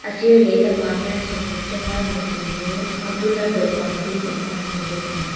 sir lehlamah hian sofa chunga nutling mu a bula dawhkan dum awm kan hmu bawk a ni.